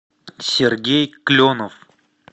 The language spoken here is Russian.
сергей кленов